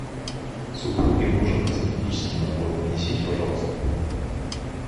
супруге нужен косметический набор принесите пожалуйста